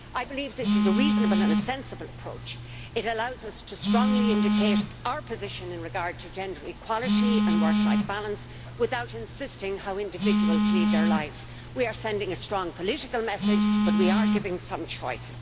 I believe this is a reasonable and a sensible approach, it allows us to strongly indicate our position in regard to gender equality and work life balance without insisting how individuals lead their lives. We are sending a strong political message, but we are giving some choice.